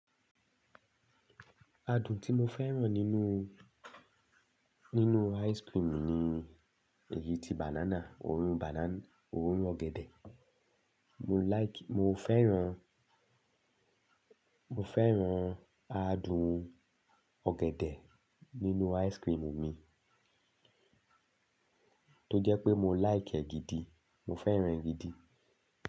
Adùn tí mo fẹ́ràn nínú, nínú ice cream ni ni èyí tí banana, òórùn banana, òórùn ọ̀gẹ̀dẹ̀. Mo like, mo fẹ́ràn, mo fẹ́ràn adùn ọ̀gẹ̀dẹ̀ nínú ice cream mi. Tó jẹ́ pé mo like e gidi, mo fẹ́ràn e gidi.